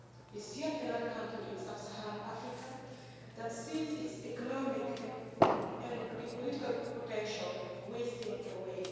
It's yet another country in sub Saharan Africa that sees its economic and political potential wasting away.